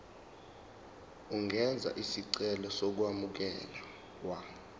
ungenza isicelo sokwamukelwa